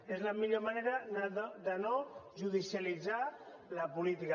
és la millor manera de no judicialitzar la política